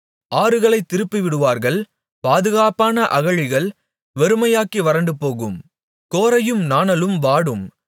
ஆறுகளைத் திருப்பிவிடுவார்கள் பாதுகாப்பான அகழிகள் வெறுமையாகி வறண்டுபோகும் கோரையும் நாணலும் வாடும்